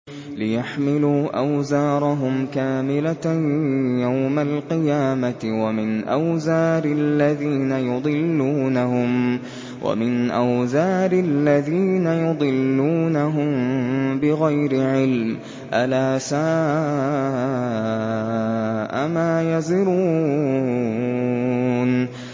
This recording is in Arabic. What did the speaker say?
لِيَحْمِلُوا أَوْزَارَهُمْ كَامِلَةً يَوْمَ الْقِيَامَةِ ۙ وَمِنْ أَوْزَارِ الَّذِينَ يُضِلُّونَهُم بِغَيْرِ عِلْمٍ ۗ أَلَا سَاءَ مَا يَزِرُونَ